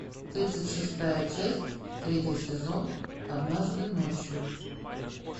тридцать шестая часть третий сезон однажды ночью